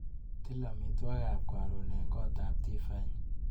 Til amitwagikap karon eng kotap Tiffany.